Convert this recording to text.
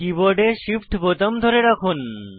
কীবোর্ডে Shift বোতাম ধরে রাখুন